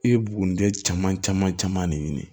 I ye buguni den caman caman caman de ɲini